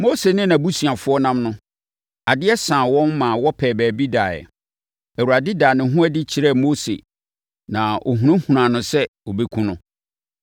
Mose ne nʼabusuafoɔ nam no, adeɛ saa wɔn ma wɔpɛɛ baabi daeɛ. Awurade daa ne ho adi kyerɛɛ Mose na ɔhunahunaa no sɛ ɔbɛkum no.